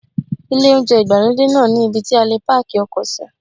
Ilé oúnjẹ ìgbàlódé náà ní ibí tí a lè páàkì ọkọ̀ sí.